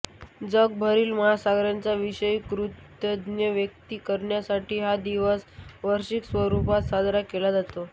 जगभरातील महासागरांच्याविषयी कृतज्ञता व्यक्त करण्यासाठी हा दिवस वार्षिक स्वरूपात साजरा केला जातो